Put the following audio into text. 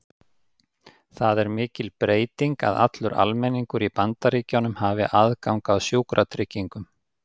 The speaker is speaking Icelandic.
Það er mikil breyting að allur almenningur í Bandaríkjunum hafi aðgang að sjúkratryggingum.